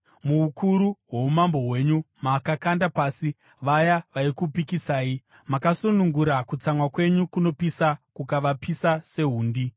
“Muukuru hwoumambo hwenyu makakanda pasi vaya vaikupikisai. Makasunungura kutsamwa kwenyu kunopisa, kukavapisa sehundi.